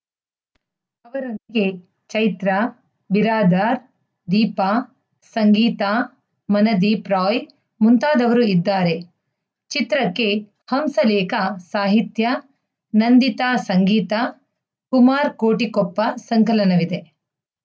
ಅವರೊಂದಿಗೆ ಚೈತ್ರಾ ಬಿರಾದಾರ್‌ ದೀಪಾ ಸಂಗೀತಾ ಮನದೀಪ್‌ ರಾಯ್‌ ಮುಂತಾದವರು ಇದ್ದಾರೆ ಚಿತ್ರಕ್ಕೆ ಹಂಸಲೇಖ ಸಾಹಿತ್ಯ ನಂದಿತಾ ಸಂಗೀತ ಕುಮಾರ್‌ ಕೋಟಿಕೊಪ್ಪ ಸಂಕಲನವಿದೆ